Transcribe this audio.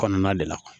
Kɔnɔna de la